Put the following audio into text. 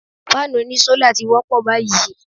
Fáànù oní sólà ti wọ́pọ̀ báyìí.